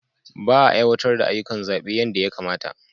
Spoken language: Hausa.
Ba a aiwatar da ayyukan zaɓe yadda ya kamata.